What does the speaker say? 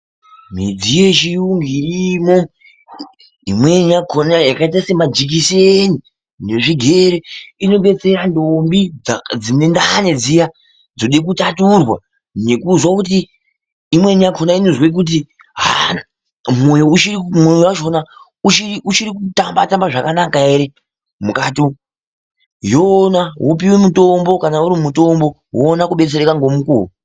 Midziyo yechirungu irimwo imweni yakhona yakaita semajekiseni nezvigere inopedzera ndombi dzine ndani dziya dzode kutaturwa nekuzoti imweni yakhona inozwe kuti mwoyo wakhona uchiri kutamba tamba zvakanaka hre kukati umwu yoona wopuwe mutombo , kana uri mutombo uone kubetsereka ngomukuwo